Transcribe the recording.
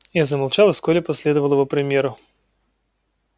я замолчал и вскоре последовал его примеру